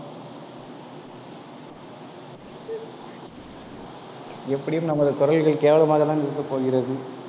எப்படியும் நமது குரல்கள் கேவலமாக தான் இருக்கப்போகிறது